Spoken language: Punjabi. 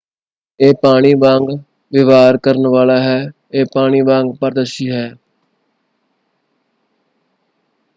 "ਇਹ ਪਾਣੀ ਵਾਂਗ ਵਿਵਹਾਰ ਕਰਨ ਵਾਲਾ ਹੈ। ਇਹ ਪਾਣੀ ਵਾਂਗ ਪਾਰਦਰਸ਼ੀ ਹੈ।